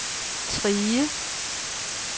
Trige